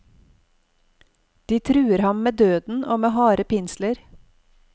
De truer ham med døden og med harde pinsler.